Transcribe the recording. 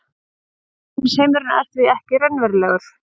efnisheimurinn er því ekki raunverulegur